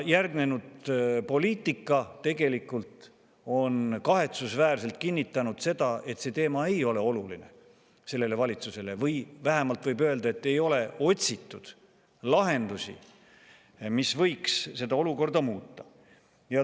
Järgnenud poliitika tegelikult on kahetsusväärselt kinnitanud seda, et see teema ei ole oluline sellele valitsusele, või vähemalt võib öelda, et ei ole otsitud lahendusi, mis võiks seda olukorda muuta.